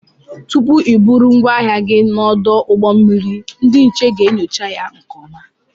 Tụpụ I bụrụ ngwaahịa gị n'odu ụgbọ mmiri ndị nche ga-enyocha ya nke ọma.